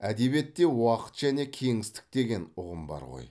әдебиетте уақыт және кеңістік деген ұғым бар ғой